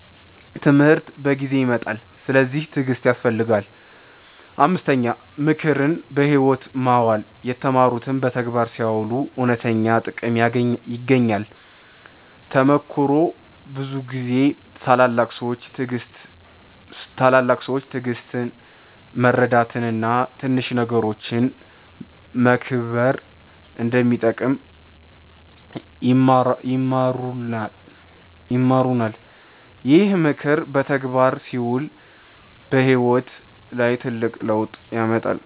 ትምህርት በጊዜ ይመጣል፤ ስለዚህ ትዕግሥት ያስፈልጋል። 5. ምክርን በሕይወት ማዋል የተማሩትን በተግባር ሲያውሉ እውነተኛ ጥቅም ይገኛል። ተሞክሮ ብዙ ጊዜ ታላላቅ ሰዎች ትዕግሥት፣ መርዳት እና ትንሽ ነገሮችን መከብር እንደሚጠቅም ይማሩናል። ይህ ምክር በተግባር ሲውል በሕይወት ላይ ትልቅ ለውጥ ያመጣል።